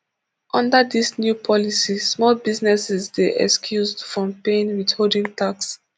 under dis new policy small businesses dey excused from paying withholding tax